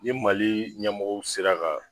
Ni Mali ɲɛmɔgɔ sera ka